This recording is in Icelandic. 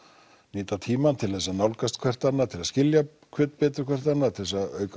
nýta tímann til að nálgast hvert annað skilja betur hvert annað auka